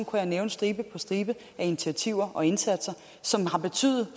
jeg nævne stribe på stribe af initiativer og indsatser som